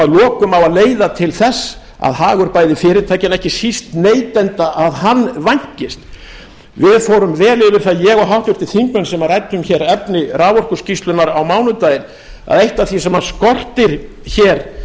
lokum á að leiða til þess að hagur bæði fyrirtækjanna en ekki síst neytenda vænkist við fórum vel yfir það ég og háttvirtir þingmenn sem ræddum hér efni raforkuskýrslunnar á mánudaginn að eitt af því sem skortir hér